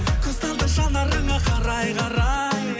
көз талды жанарыңа қарай қарай